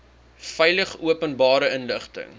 veilig openbare inligting